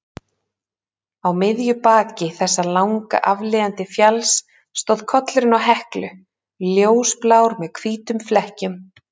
Á miðju baki þessa langa aflíðandi fjalls stóð kollurinn á Heklu, ljósblár með hvítum flekkjum.